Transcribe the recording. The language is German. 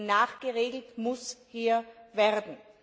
Denn nachgeregelt muss hier werden.